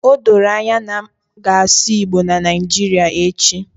Odoro anya na m ga-asụ igbo na Naijiria echi